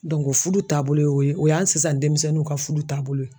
fudu taabolo ye o ye o y'an sisan denmisɛnninw ka fudu taabolo ye.